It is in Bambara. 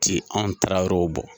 T'i anw Tarawelew bɔ.